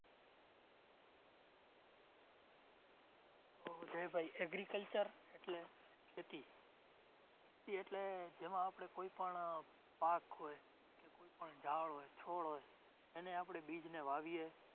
તો જયભાઈ agriculture એટલે ખેતી. ખેતી એટલે જેમાં આપણે કોઈ પણ પાક હોય, કોઈ પણ ઝાડ હોય, છોડ હોય. એને આપણે બીજને વાવીએ.